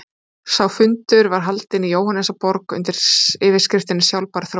Sá fundur var haldinn í Jóhannesarborg undir yfirskriftinni Sjálfbær þróun.